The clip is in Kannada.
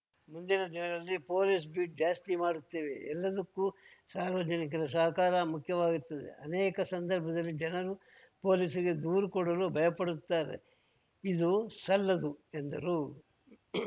ಮುಂದಿನ ದಿನಗಳಲ್ಲಿ ಪೊಲೀಸ್‌ ಬೀಟ್‌ ಜಾಸ್ತಿ ಮಾಡುತ್ತೇವೆ ಎಲ್ಲದಕ್ಕೂ ಸಾರ್ವಜನಿಕರ ಸಹಕಾರ ಮುಖ್ಯವಾಗುತ್ತದೆ ಅನೇಕ ಸಂದರ್ಭದಲ್ಲಿ ಜನರು ಪೊಲೀಸರಿಗೆ ದೂರು ಕೊಡಲು ಭಯಪಡುತ್ತಾರೆ ಇದು ಸಲ್ಲದು ಎಂದರು